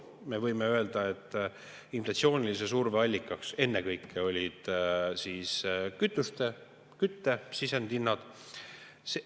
Me võime öelda, et inflatsioonilise surve allikaks olid ennekõike kütuste, kütte sisendite hinnad.